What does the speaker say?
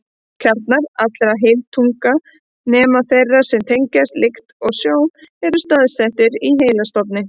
Kjarnar allra heilatauga, nema þeirra sem tengjast lykt og sjón, eru staðsettir í heilastofni.